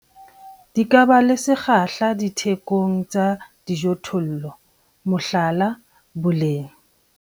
Di ka ba le sekgahla thekong ya dijothollo, mohlala, boleng.